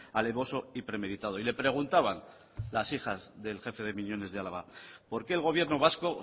alevoso y premeditado y le preguntaban las hijas del jefe de miñones de álava por qué el gobierno vasco